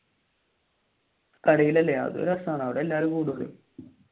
കടയിൽ അല്ലെ അത് രസമാണ് അവിടെ എല്ലാരും കൂടുമല്ലോ